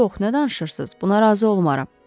Yox, nə danışırsız, buna razı olmaram.